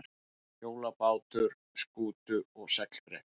Hjólabátar, skútur og seglbretti.